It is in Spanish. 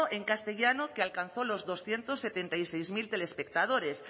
en castellano que alcanzó los doscientos setenta y seis mil telespectadores